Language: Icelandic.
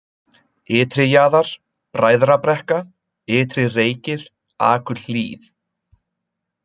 Ytri-Jaðar, Bræðrabrekka, Ytri-Reykir, Akurhlíð